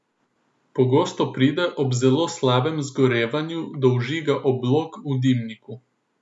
Pogosto pride ob zelo slabem zgorevanju do vžiga oblog v dimniku.